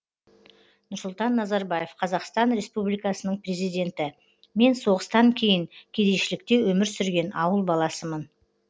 нұрсұлтан назарбаев қазақстан республикасының президенті мен соғыстан кейін кедейшілікте өмір сүрген ауыл баласымын